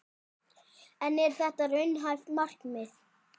En er þetta raunhæft markmið?